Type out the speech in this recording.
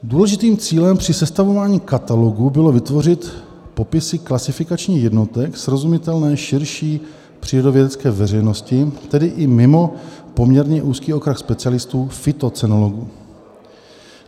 Důležitým cílem při sestavování katalogu bylo vytvořit popisy klasifikačních jednotek srozumitelné širší přírodovědecké veřejnosti, tedy i mimo poměrně úzký okruh specialistů - fytocenologů.